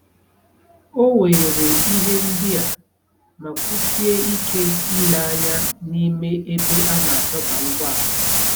O weere ihe ndị a ma kwusie ike ile anya n'ime ebe a na-adọba ụgbọala.